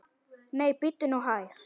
Nei, bíddu nú hæg!